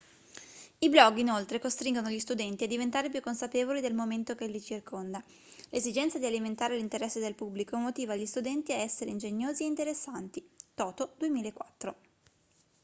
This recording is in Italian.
i blog inoltre costringono gli studenti a diventare più consapevoli del momento che li circonda". l'esigenza di alimentare l'interesse del pubblico motiva gli studenti a essere ingegnosi e interessanti toto 2004